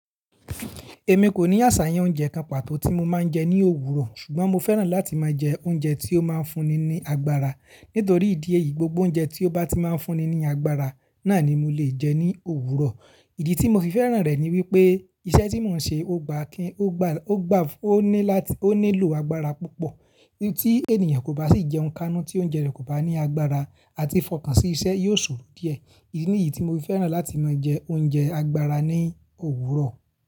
Èmi kò ní àṣàyàn oúnjẹ kan pàtó tí mo máa ń jẹ ní òwúrọ̀, ṣùgbọ́n mo fẹ́ràn láti máa jẹ oúnjẹ tí ó máa ń fúnni ní agbára. Nítorí ìdí èyí, gbogbo oúnjẹ tí ó bá ti máa fúnni ní agbára náà ni mo lè jẹ ní òwúrọ̀. Ìdí tí mo fi fẹ́ràn rẹ̀ ni wípé iṣẹ́ tí mò ń ṣe ó gbà kí, ó gbà, ó gbà, ó ní láti, ó nílò agbára púpọ̀. I'ń tí ènìyàn kò bá sì jẹún kanu tí oúnjẹ rẹ̀ kò bá ní agbára àti fọkàn sí iṣẹ́ yóò sò díẹ̀. Níyí tí mo fi fẹ́ràn láti máa jẹ oúnjẹ agbára ní òwúrọ̀.